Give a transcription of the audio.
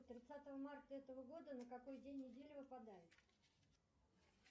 тридцатое марта этого года на какой день недели выпадает